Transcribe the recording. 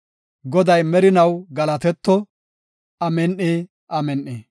Goday merinaw galatetto! Amin7i! Amin7i!